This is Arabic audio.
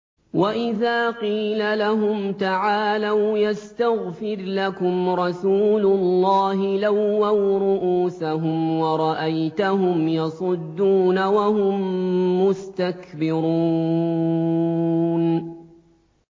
وَإِذَا قِيلَ لَهُمْ تَعَالَوْا يَسْتَغْفِرْ لَكُمْ رَسُولُ اللَّهِ لَوَّوْا رُءُوسَهُمْ وَرَأَيْتَهُمْ يَصُدُّونَ وَهُم مُّسْتَكْبِرُونَ